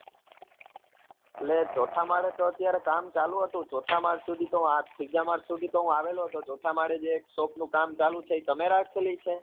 એટલે ચોથા માળે તો અત્યારે કામ ચાલુ હતું ચોથા માળ સુધી તો ત્રીજા માળ સુધી તો હું આવેલો હતો ચોથા માળે જે એક shop નું કામ ચાલે છે એ તમે રાખેલી છે?